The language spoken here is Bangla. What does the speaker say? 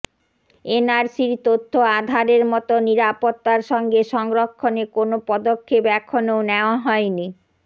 এনআরসির তথ্য আধারের মতো নিরাপত্তার সঙ্গে সংরক্ষণে কোনও পদক্ষেপ এখনও নেওয়া হয়নি